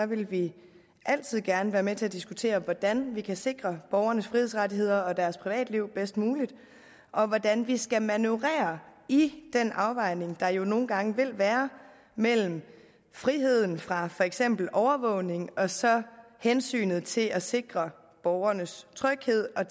vil vi altid gerne være med til at diskutere hvordan vi kan sikre borgernes frihedsrettigheder og deres privatliv bedst muligt og hvordan vi skal manøvrere i den afvejning der jo nogle gange vil være mellem friheden fra for eksempel overvågning og så hensynet til at sikre borgernes tryghed og